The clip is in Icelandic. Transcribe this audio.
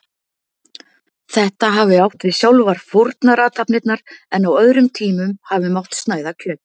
Þetta hafi átt við sjálfar fórnarathafnirnar, en á öðrum tímum hafi mátt snæða kjöt.